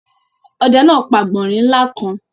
Ọdẹ náà pa àgbọ̀nrín ńlá kan.